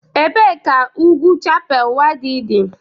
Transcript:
Ebee ka ugwu Chappal Waddi dị?